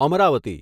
Amravati